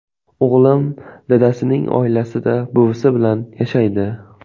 O‘g‘lim dadasining oilasida, buvisi bilan yashaydi.